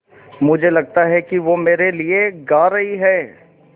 मुझे लगता है कि वो मेरे लिये गा रहीं हैँ